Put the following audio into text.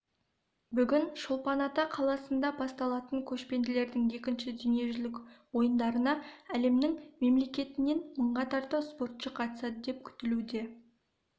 бүгін шолпан-ата қаласында басталатын көшпенділердің екінші дүниежүзілік ойындарына әлемнің мемлекетінен мыңға тарта спортшы қатысады деп күтілуде